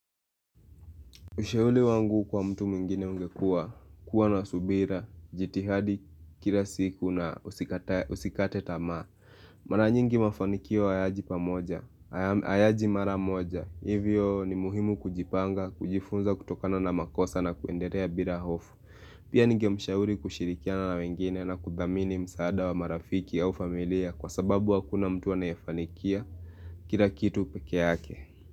Ushauri wangu kwa mtu mwingine ungekua, kuwa na subira, jitihadi kila siku na usikatae usikate tamaa. Mara nyingi mafanikio hayaji pamoja hayaji mara moja, hivyo ni muhimu kujipanga, kujifunza kutokana na makosa na kuenderea bira hofu. Pia ningemshauri kushirikiana na wengine na kuthamini msaada wa marafiki au familia kwa sababu hakuna mtu anayefanikia kila kitu peke yake.